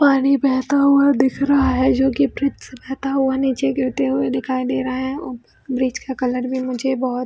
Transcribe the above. पानी बहता हुआ दिख रहा है जोकि वृक्ष से बहेता हुआ नीचे गिरते हुए दिखाई दे रहा है और वृक्ष का कलर मुझे बहुत --